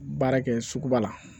Baara kɛ sugu ba la